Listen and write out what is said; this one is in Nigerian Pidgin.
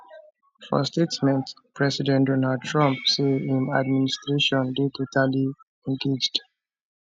for statement president donald trump say im administration dey totally engaged